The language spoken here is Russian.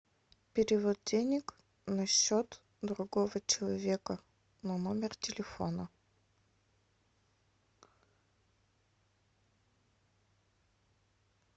перевод денег на счет другого человека на номер телефона